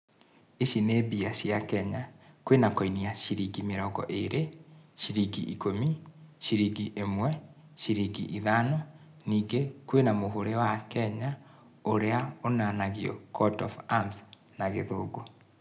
Ici nĩ mbia cia Kenya. Kwĩna koinĩ ya ciringi mĩrongo irĩ, ciringi ĩkũmi, ciringi ĩmwe, ciringi ithano, ningĩ kwĩna mũhũri wa Kenya ũrĩa ũnanagio court of arms na Gĩthũngũ.